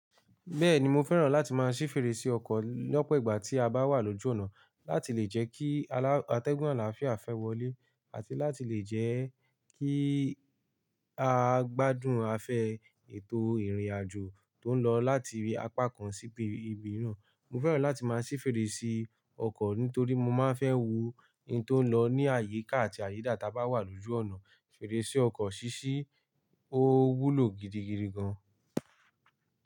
Bẹ́ẹ̀ni, mo fẹ́ràn láti máa ṣí fèrèsé ọkọ̀ lọ́pọ̀ ìgbà tí a bá wà lójú ọ̀nà láti lè jẹ́ kí atẹ́gùn àlàáfíà fẹ́ wọlé àti láti lè jẹ́ kí a gbádùn àfẹ ètò ìrìnàjò tó ń lọ láti apá kan sí ibi mìíràn. Mo fẹ́ràn láti máa ṣí fèrèsé ọkọ̀ nítorí mo máa ń fẹ́ wo in tó ń lọ ní àyíká àti àyídà tí a bá wà lójú ọ̀nà. Fèrèsé ọkọ̀ ṣíṣí ó wúlò gidigidi gan.